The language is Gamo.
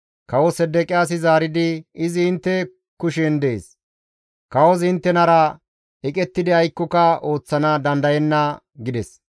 Kawo Sedeqiyaasi zaaridi, «Izi intte kushen dees; kawozi inttenara eqettidi aykkoka ooththana dandayenna» gides.